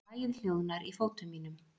Lagið hljóðnar í fótum mínum.